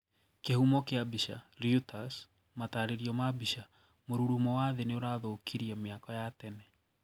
Kihũmo kia bica, Reuters matarĩrio ma bica, mũrurumo wa thii niũrathũkirie miako ya tene.